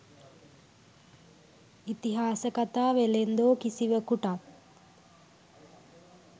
'ඉතිහාස කතා වෙළෙන්දෝ' කිසිවකුටත්